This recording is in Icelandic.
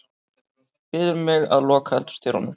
Biður mig að loka eldhúsdyrunum.